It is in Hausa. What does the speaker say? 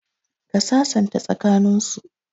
Ka sasanta tsaka nin su